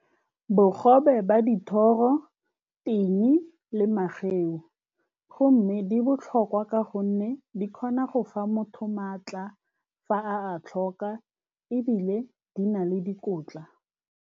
Bogobe ba dithoro ting le mageu. Go mme di botlhokwa ka gonne di kgona go fa motho maatla fa a a tlhoka, ebile di na le dikotla.